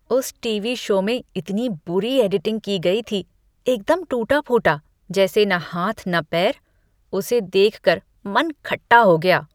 उस TV show में इतनी बुरी एडिटिंग की गई थी, एकदम टूटा फूटा जैसे और न हाथ न पैर। उसे देख कर मन खट्टा हो गया।